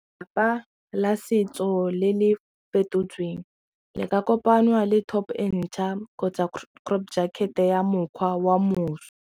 la setso le le fetotsweng le ka kopangwa le top entšha kgotsa crop jacket ya mokgwa wa moso.